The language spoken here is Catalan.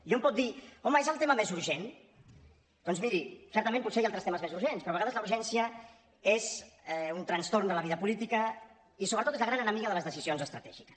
i hom pot dir home és el tema més urgent doncs miri certament potser hi ha altres temes més urgents però a vegades la urgència és un trastorn de la vida política i sobretot és la gran enemiga de les decisions estratègiques